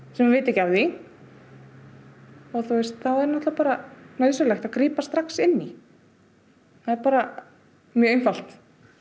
sem vita ekki af því og þá er náttúrulega bara nauðsynlegt að grípa strax inn í það er bara mjög einfalt